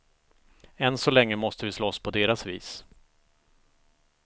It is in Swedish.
Än så länge måste vi slåss på deras vis.